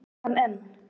Hef hann enn.